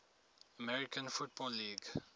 american football league